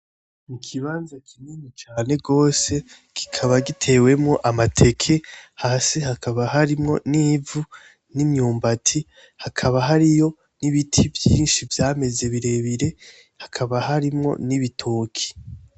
N'ikibanza kinini cane rwose kikaba gitewemwo amateke, hasi hakaba harimwo nivu, nimyumbati hakaba hariyo n'ibiti vyinshi vyameze birebire hakaba harimwo nibitoke.